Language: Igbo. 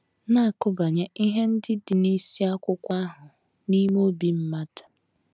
na - akụbanye ihe ndị dị n’isiakwụkwọ ahụ n’ime obi mmadụ.